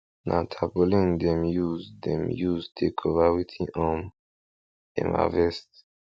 na tarpaulin dem use dem use take cover wetin um dem harvest